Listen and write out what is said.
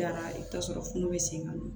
Yann'a i bɛ taa sɔrɔ funu bɛ sen na